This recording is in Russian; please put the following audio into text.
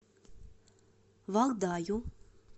валдаю